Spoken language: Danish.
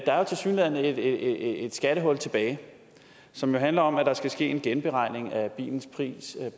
er jo tilsyneladende et skattehul tilbage som handler om at der skal ske en genberegning af bilens pris